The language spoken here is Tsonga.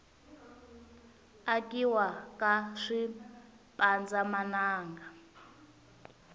akiwa ka swipanza mananga